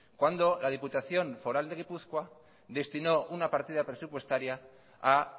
cuando la diputación foral de gipuzkoa destinó una partida presupuestaria a